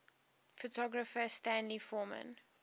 photographer stanley forman